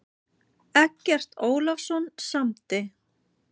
Eggert Ólafsson samdi.